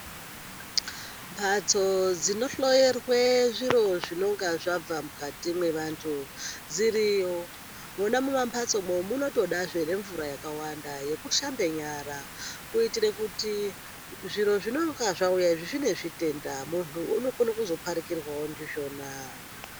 Mbatso dzinohloyerwe zviro zvinonga zvabva mukati mwevantu dziriyo. Mwona mumamhatsomo munotodazve nemvura yakawanda yekushambe nyara. Kuitire kuti zvirozvinonga zvauya izvi zvine zvitenda muntu unokona kuzoparikirwavo ndizvona.